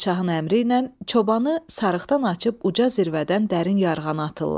Padşahın əmri ilə çobanı sarıqdan açıb uca zirvədən dərin yarğana atırlar.